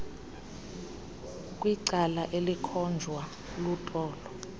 kwicala elikhonjwa lutolo